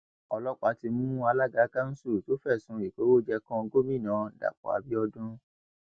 ọlọpàá ti mú alága kanṣu tó fẹsùn ìkówóje kan gomina dapò abiodun